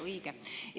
Õige!